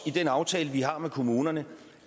i den aftale vi har med kommunerne